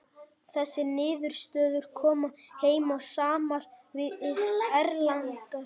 Þessar niðurstöður koma heim og saman við erlendar mælingar.